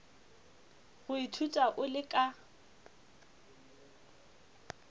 go ithuta o le ka